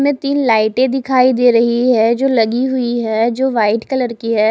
में तीन लाइटें दिखाई दे रही है जो लगी हुई है जो व्हाइट कलर की है।